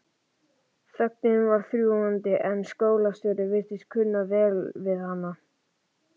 Þögnin var þrúgandi en skólastjóri virtist kunna vel við hana.